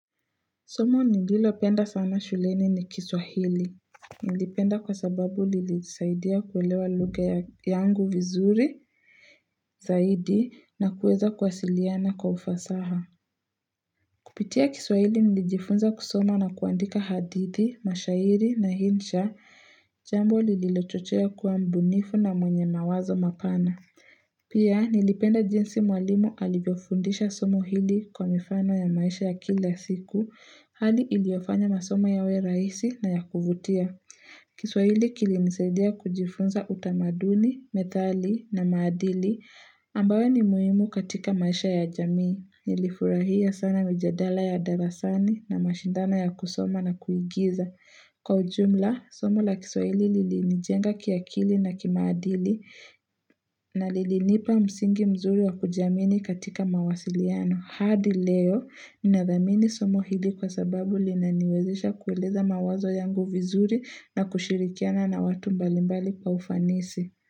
Somo nililopenda sana shuleni ni kiswahili. Nilipenda kwa sababu lilisaidia kuwelewa lugha yangu vizuri, zaidi, na kuweza kuwasiliana kwa ufasaha. Kupitia kiswahili nilijifunza kusoma na kuandika hadithi, mashairi na insha, jambo lililochochea kuwa mbunifu na mwenye mawazo mapana. Pia nilipenda jinsi mwalimu alivyofundisha somo hili kwa mifano ya maisha ya kila siku Hali iliofanya masoma yawe rahisi na ya kuvutia kiswahili kilinisaidia kujifunza utamaduni, methali na maadili ambayo ni muimu katika maisha ya jamii nilifurahia sana mijadala ya darasani na mashindana ya kusoma na kuigiza Kwa ujumla, somo la kiswihili lilinijenga kiakili na kimaadili na lilinipa msingi mzuri wa kujamini katika mawasiliano. Hadi leo, nina dhamini somo hili kwa sababu linaniwezisha kueleza mawazo yangu vizuri na kushirikiana na watu mbalimbali pa ufanisi.